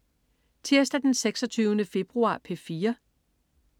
Tirsdag den 26. februar - P4: